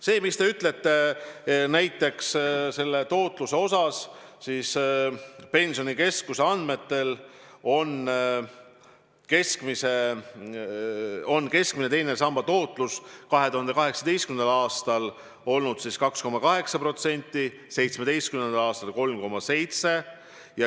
See, mis te ütlesite tootluse kohta – Pensionikeskuse andmetel oli keskmine teise samba tootlus 2018. aastal 2,8%, 2017. aastal 3,7%.